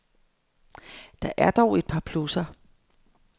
Der er dog et par plusser.